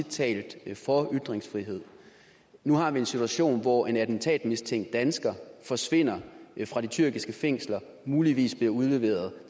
tale for ytringsfrihed nu har vi en situation hvor en attentatmistænkt dansker forsvinder fra de tyrkiske fængsler og muligvis bliver udleveret